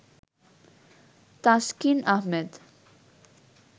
Taskin Ahmed